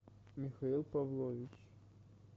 михаил павлович